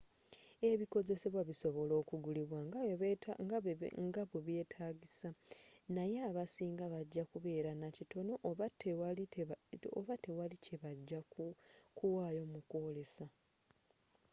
ebikozesebwa bisobola okugulibwa ngabwebyetaagisa naye abasinga bajja kubeera na kitono oba tewali kyebajja kuwayo mu kwolesa